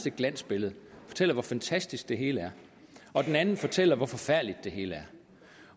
et glansbillede og fortæller hvor fantastisk det hele er og den anden fortæller hvor forfærdeligt det hele er